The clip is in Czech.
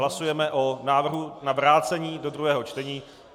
Hlasujeme o návrhu na vrácení do druhého čtení.